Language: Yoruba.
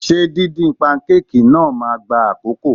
Ṣé díndín pankéèkì náà máa gba àkókò?